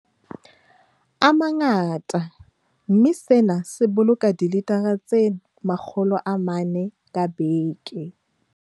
A mangata, mme sena se boloka dilitara tse 400 ka beke.